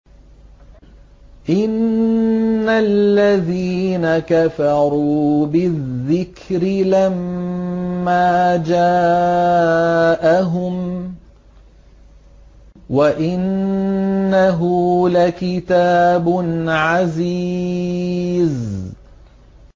إِنَّ الَّذِينَ كَفَرُوا بِالذِّكْرِ لَمَّا جَاءَهُمْ ۖ وَإِنَّهُ لَكِتَابٌ عَزِيزٌ